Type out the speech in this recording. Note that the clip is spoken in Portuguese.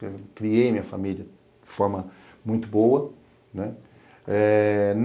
Criei minha família de forma muito boa.